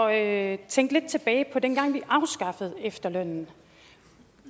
at tænke lidt tilbage på dengang da vi afskaffede efterlønnen